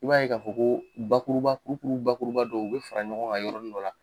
I b'a ye k'a fɔ ko bakuruba kurukuru bakuruba dɔ u bɛ fara ɲɔgɔn kan yɔrɔnin dɔ la.